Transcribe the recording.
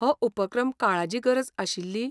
हो उपक्रम काळाजी गरज आशिल्ली.